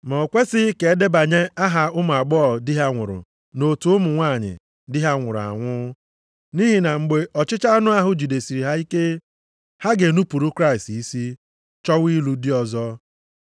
Ma o kwesighị ka e debanye aha ụmụ agbọghọ di ha nwụrụ nʼotu ụmụ nwanyị di ha nwụrụ anwụ. Nʼihi na mgbe ọchịchọ anụ ahụ jidesiri ha ike, ha ga-enupuru Kraịst isi, chọwa ịlụ di ọzọ.